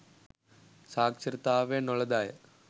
සාක්ෂරතාවය නොලද අය